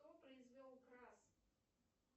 кто произвел крас